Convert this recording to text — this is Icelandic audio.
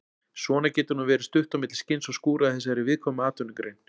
Svona getur nú verið stutt á milli skins og skúra í þessari viðkvæmu atvinnugrein.